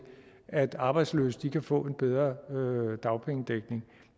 at arbejdsløse kan få en bedre dagpengedækning